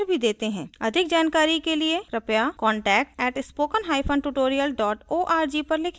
अधिक जानकारी के लिए कृपया contact @spokentutorial org पर लिखें